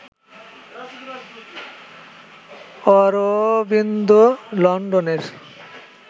অরবিন্দ লন্ডনের